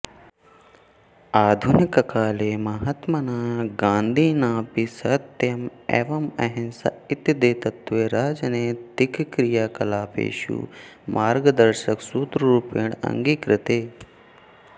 आधुनुककाले महात्मना गान्धिनापि सत्यम् एवम् अहिंसा इति द्वे तत्वे राजनैतिकक्रियाकलापेषु मार्गदर्शकसूत्ररूपेण अङ्गीकृते